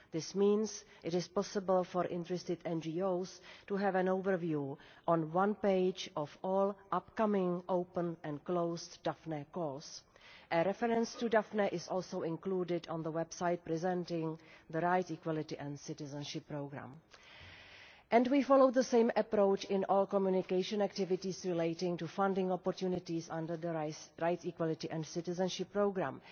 This means it is possible for interested NGOs to have an overview on one page of all upcoming, open and closed Daphne calls. A reference to Daphne is also included on the website presenting the Rights, Equality and Citizenship Programme. We follow the same approach in all communication activities relating to funding opportunities under the Rights, Equality and Citizenship Programme.